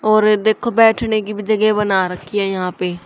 और देखो बैठने की भी जगह बना रखी है यहां पे।